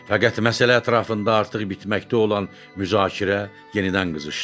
Fəqət məsələ ətrafında artıq bitməkdə olan müzakirə yenidən qızışdı.